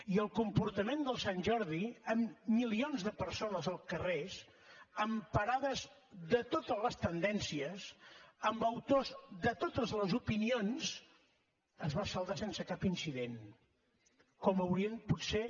i el comportament de sant jordi amb milions de persones als carrers amb parades de totes les tendències amb autors de totes les opinions es va saldar sense cap incident com haurien potser